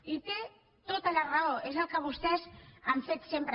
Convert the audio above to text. i té tota la raó és el que vostès han fet sempre